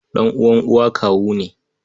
Ɗan'uwan uwa kawu ne.